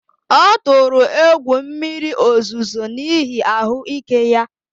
Ọ tụrụ egwu mmiri ozuzo n’ihi ahụ́ ike ya